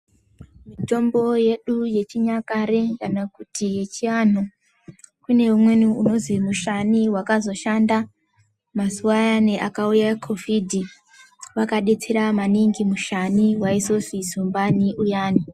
Mitombo yedu yechinyakare kana kuti yechiandu kune umweni unozi mushani wakazoshanda mazuva ayani akauya COVID wakadetsera maningi mushani waizonzi zumbani uyani.